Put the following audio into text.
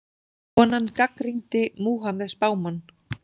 Konan gagnrýndi Múhameð spámann